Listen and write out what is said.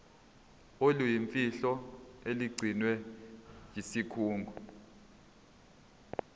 oluyimfihlo olugcinwe yisikhungo